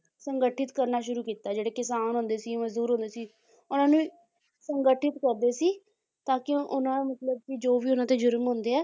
ਸੰਗਠਿਤ ਕਰਨਾ ਸ਼ੁਰੂ ਕੀਤਾ ਜਿਹੜੇ ਕਿਸਾਨ ਹੁੰਦੇ ਸੀ ਮਜ਼ਦੂਰ ਹੁੰਦੇ ਸੀ ਉਹਨਾਂ ਨੂੰ ਸੰਗਠਿਤ ਕਰਦੇ ਸੀ ਤਾਂ ਕਿ ਉਹਨਾਂ ਮਤਲਬ ਕਿ ਜੋ ਵੀ ਉਹਨਾਂ ਤੇ ਜ਼ੁਰਮ ਹੁੰਦੇ ਹੈ